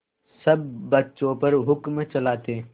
सब बच्चों पर हुक्म चलाते